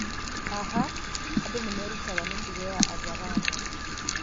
Haha, andũ nĩ merutaga mĩtugo ya Azaramo.